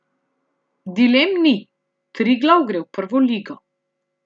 Dilem ni, Triglav gre v prvo ligo.